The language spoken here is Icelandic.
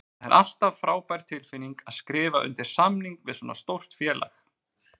Það er alltaf frábær tilfinning að skrifa undir samning við svona stórt félag.